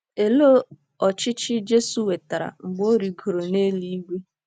Olee ọchịchị Jesu nwetara mgbe o rịgoro n’eluigwe?